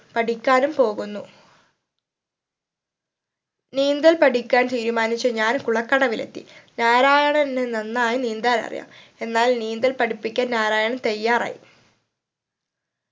പഠിക്കാനും പോകുന്നു നീന്തൽ പഠിക്കാൻ തീരുമാനിച്ച് ഞാൻ കുളക്കടവിലെത്തി നാരായണന് നന്നായി നീന്താൻ അറിയാം എന്നാൽ നീന്തൽ പഠിപ്പിക്കാൻ നാരായണൻ തയ്യാറായി